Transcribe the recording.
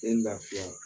Den lafiya